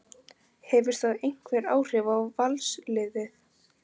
Hefur það einhver áhrif á Valsliðið?